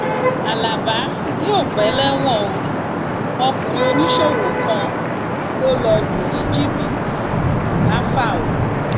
alábà yóò pẹ lẹwọn o ọkùnrin oníṣòwò kan lọ lù lù ní jìbìtì làfáò